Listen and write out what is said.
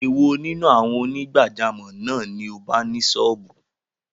Èwo nínú àwọn onígbàjámọ̀ náà ni o bá ni sọ́ọ̀bù?